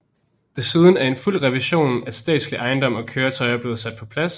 Desuden er en fuld revision af statslig ejendom og køretøjer bliver sat på plads